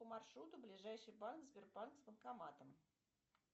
по маршруту ближайший банк сбербанк с банкоматом